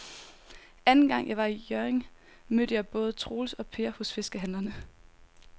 Anden gang jeg var i Hjørring, mødte jeg både Troels og Per hos fiskehandlerne.